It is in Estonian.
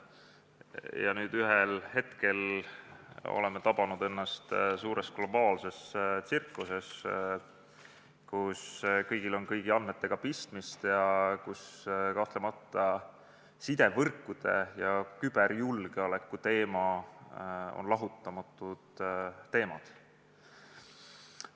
Ja nüüd ühel hetkel oleme tabanud ennast suures globaalses tsirkuses, kus kõigil on kõigi andmetega pistmist ning kus sidevõrkude ja küberjulgeoleku teema on lahutamatult seotud.